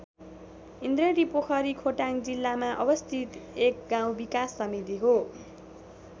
ईन्द्रेणी पोखरी खोटाङ जिल्लामा अवस्थित एक गाउँ विकास समिति हो।